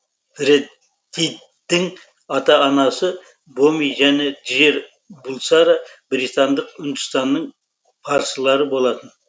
фреддидің ата анасы боми және джер булсара британдық үндістанның парсылары болатын